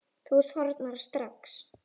Þú þornar strax.